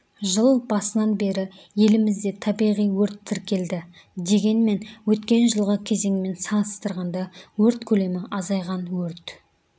жыл басынан бері елімізде табиғи өрт тіркелді дегенмен өткен жылғы кезеңмен салыстырғанда өрт көлемі азайған өрт